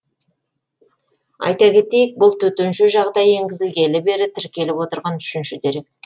айта кетейік бұл төтенше жағдай енгізілгелі бері тіркеліп отырған үшінші дерек